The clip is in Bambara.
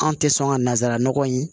An tɛ sɔn ka nanzara nɔgɔ in